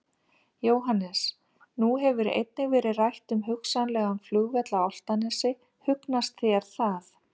Jóhannes: Nú hefur einnig verið rætt um hugsanlegan flugvöll á Álftanes, hugnast það þér?